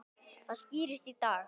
Það skýrist í dag.